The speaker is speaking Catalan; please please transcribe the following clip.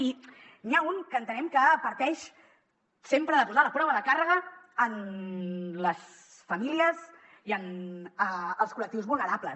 i n’hi ha un que entenem que parteix sempre de posar la prova de càrrega en les famílies i en els col·lectius vulnerables